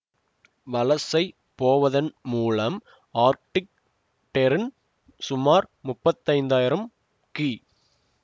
வலசை போவதன் மூலம் ஆர்டிக் டெர்ன் சுமார் முப்பத்தைந்தாயிரம் கி